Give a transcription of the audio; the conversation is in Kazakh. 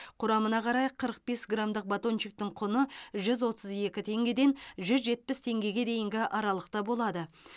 құрамына қарай қырық бес грамдық батончиктің құны жүз отыз екі теңгеден жүз жетпіс теңгеге дейінгі аралықта болады